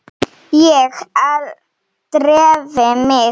Ég dreif mig út.